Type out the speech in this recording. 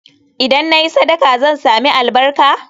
Idan na yi sadaka, zan sami albarka?